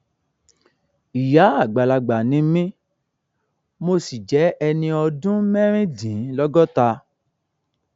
ìyá àgbàlagbà ni mí mo sì jẹ ẹni ọdún mẹrìndínlọgọta